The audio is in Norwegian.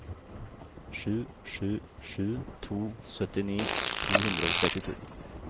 sju sju sju to syttini to hundre og trettito